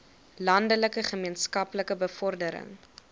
landelike gemeenskappe bevordering